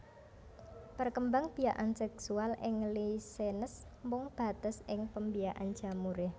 Perkembangbiakan seksual ing Lichenes mung bates ing pembiakan jamuré